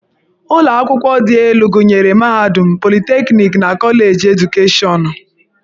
Ụlọ akwụkwọ dị elu gụnyere mahadum, politekniki, na Koleji Edukeshọnụ.